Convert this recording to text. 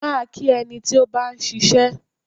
Máa kí ẹni tí ó bá ń ṣiṣẹ́.